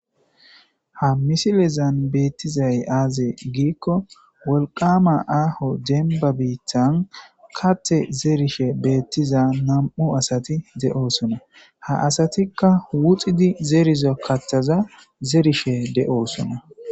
ha misilezan beettizay aaze giikko wolqama aaho denba biittan kate zerishe beettiza nam7u asati de7oosona ha asatikka wuxidi zeriza katthaza zerishe de7oosona